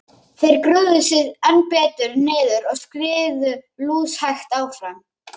Þeir grúfðu sig enn betur niður og skriðu lúshægt áfram.